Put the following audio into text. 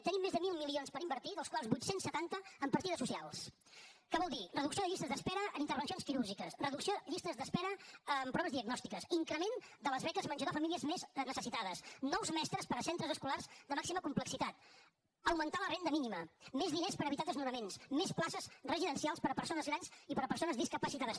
tenim més de mil milions per invertir dels quals vuit cents i setanta en partides socials que vol dir reducció de llistes d’espera en intervencions quirúrgiques reducció de llistes d’espera en proves diagnòstiques increment de les beques menjador a les famílies més necessitades nous mestres per a centres escolars de màxima complexitat augmentar la renda mínima més diners per evitar desnonaments més places residencials per a persones grans i per a persones discapacitades